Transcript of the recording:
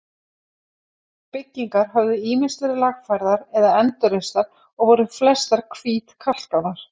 Byggingar höfðu ýmist verið lagfærðar eða endurreistar og voru flestar hvítkalkaðar.